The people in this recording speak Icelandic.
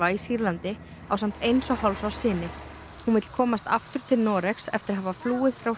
í Sýrlandi ásamt eins og hálfs árs syni hún vill komast aftur til Noregs eftir að hafa flúið frá